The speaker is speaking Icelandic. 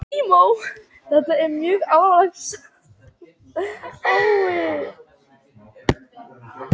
Þetta er mjög alvarleg staða.